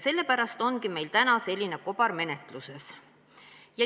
Sellepärast ongi meil täna selline kobar menetluses.